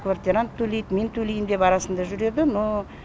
квартирант төлейді мен төлеймін деп арасында жүреді но